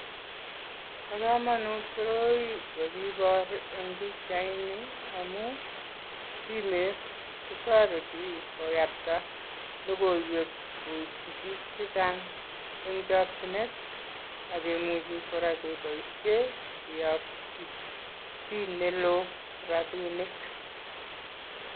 Bo kamanut koroi kakibor eng pikchaini amu, simet kotoreti koyakta lokoiwek koitchi biik che chang eng chokchinet akemuji kora keboisie keyokchi chii ne loo robinik.